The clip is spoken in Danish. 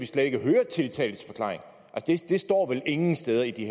slet ikke høre tiltaltes forklaring det står vel ingen steder i